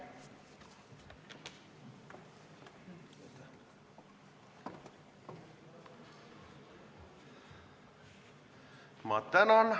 Ma tänan!